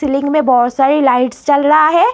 Building में बहोत सारी लाइट्स जल रहा है।